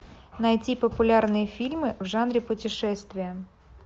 найти популярные фильмы в жанре путешествие